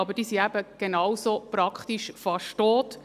Aber sie sind eben genau so praktisch fast tot.